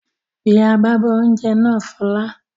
Pe agbábọ́ oúnjẹ náà Fọlá!